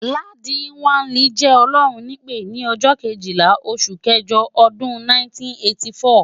Ladi kwali jẹ́ Ọlọ́run nípè ni ọjọ́ Kejìlá oṣù kẹjọ ọdún 1984.